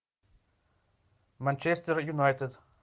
манчестер юнайтед